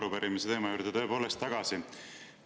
Tuleme arupärimise teema juurde tõepoolest tagasi.